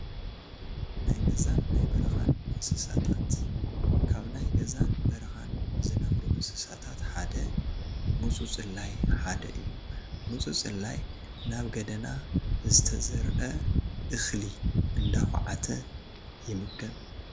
ናይ ገዛን ናይ በረኻን እንስሳታት፡- ካብ ናይ ገዛን በረኻን ዝነብሩ እንስሳታት ሓደ ሙፁፁላይ ሓደ እዩ፡፡ ሙፁፁላይ ናብ ገደና ዝተዘርአ እኽሊ እንዳዃዓተ ይምገብ፡፡